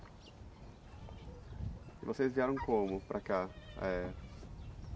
E vocês vieram como para cá? Eh...